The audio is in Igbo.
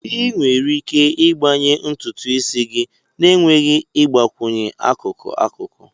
Ị nwere ike ịgbanye ntutu isi gị na-enweghị ịgbakwunye akụkụ-akụkụ.